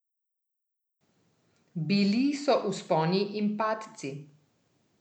Bili so vzponi in padci.